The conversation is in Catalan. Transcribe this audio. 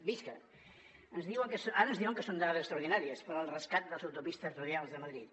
visca ara ens diuen que són dades extraordinàries pel rescat de les autopistes radials de madrid